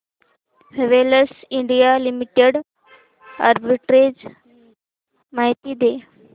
Havells India limited arbitrage माहिती दे